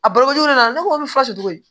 A balokojuguya ne ko n bɛ faso cogo di